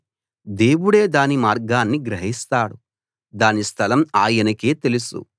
దేవుడే దాని మార్గాన్ని గ్రహిస్తాడు దాని స్థలం ఆయనకే తెలుసు